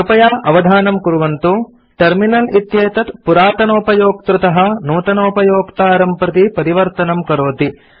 कृपया अवधानं कुर्वन्तु टर्मिनल इत्येतद् पुरातनोपयोक्तृतः नूतनोपयोक्तारं प्रति परिवर्तनं करोति